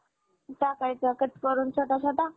टाकायचा कट करून छोटा छोटा